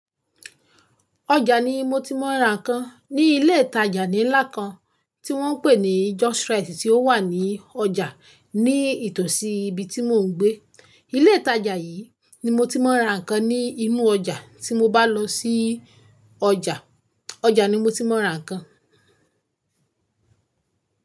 Ọjà ni mo ti máa ń ra ǹkan. Ni ilé ìtajà ńlá kan tí wọ́n ń pè ní JOS Rite tí ó wà ní ọjà ní ìtòsí ibi tí mò ń gbé. Ilé ìtajà yìí ni mo ti máa ń ra ǹkan ni inú ọjà tí mo bá lọ sí ọjà. Ọjà ni mo ti máa ń ra ǹkan.